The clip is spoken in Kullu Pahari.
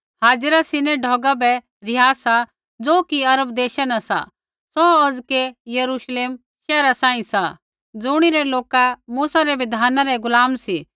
हाजिरा सीनै ढौगा बै रिहा सा ज़ो कि अरब देशा न सा सौ औज़कै यरूश्लेम शैहर सांही सा ज़ुणिरै लोका मूसा रै बिधाना रै गुलाम सी